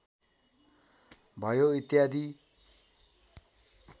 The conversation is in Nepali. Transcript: भयो इत्यादि